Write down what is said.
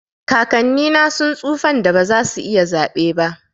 kakanni na sun tsufan da ba za su iya zaɓe ba.